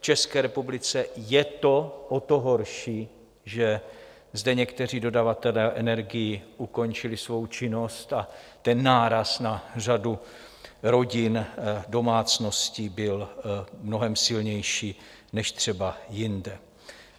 V České republice je to o to horší, že zde někteří dodavatelé energií ukončili svou činnost a ten náraz na řadu rodin, domácností byl mnohem silnější než třeba jinde.